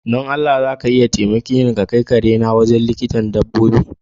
Don Allah zaka taimake ni kai kare na wurin likitan dabbobi?